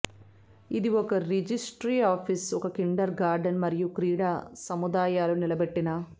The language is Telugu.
ఇది ఒక రిజిస్ట్రీ ఆఫీసు ఒక కిండర్ గార్టెన్ మరియు క్రీడా సముదాయాలు నిలబెట్టిన